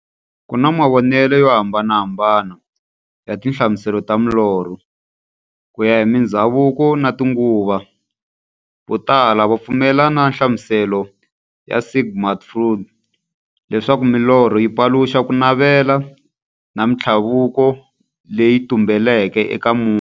Ku na mavonele yo hambanahambana ya tinhlamuselo ta milorho, kuya hi mindzhavuko na tinguva. Votala va pfumelana na nhlamuselo ya Sigmund Freud, leswaku milorho yi paluxa kunavela na minthlaveko leyi tumbeleke eka munhu.